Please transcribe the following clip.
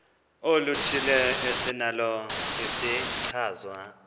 oluthile esinalo isichazwa